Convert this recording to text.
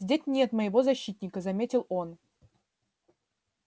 здесь нет моего защитника заметил он